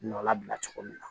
Nɔ labila cogo min na